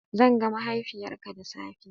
Zan ga mahaifiyarka da safe.